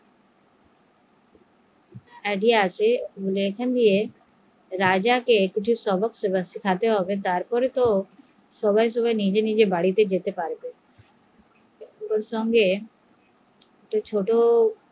আসে রাজা সবক শেখাতে হবে তাহলেই তো সবাই নিজের নিজের বাড়ি এ ফেরত যেতে পারবে এরপর